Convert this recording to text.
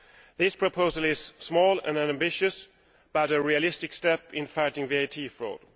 This proposal is small and unambitious but a realistic step in fighting VAT fraud.